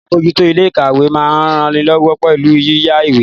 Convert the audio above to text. Alábòójútó ilé ìkàwé máa ń ranilọ́wọ́ pẹ̀lú yíyá ìwé